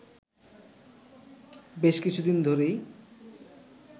বেশ কিছুদিন ধরেই